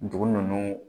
Dugu ninnu